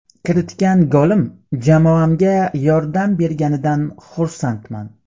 Kiritgan golim jamoamga yordam berganidan xursandman.